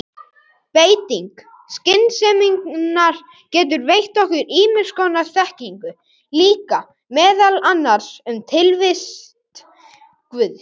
Beiting skynseminnar getur veitt okkur ýmiss konar þekkingu líka, meðal annars um tilvist guðs.